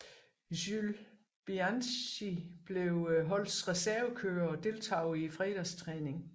Jules Bianchi blev holdets reservekører og deltog i fredagstræningen